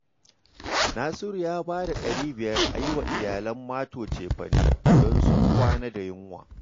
Nasiru ya ba da ɗari biyar a yi wa iyalan Mato cefane, don sun kwana da yunwa